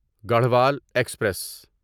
Garhwal express